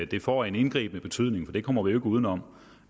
det får en indgribende betydning for det kommer vi jo uden om for